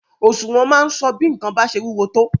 Òṣùwọ̀n máa ń sọ bí nǹkan bá ṣe wúwo tó.